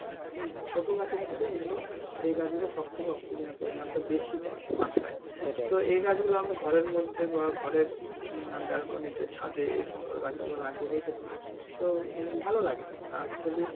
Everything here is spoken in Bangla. হম ছোট গাছের মধ্যে এই গুলো এই গাছ গুলো সব থেকে অক্সিজেনের পরিমান টা বেশি দেয় মাত্রায়, তো এই গাছ গুলো আমি ঘরের মধ্যে বা ঘরের বেলকনিতে ছাদে এই সমস্ত গাছ গুলো লাগিয়ে রেখেছি তো উম ভালো লাগে আর actually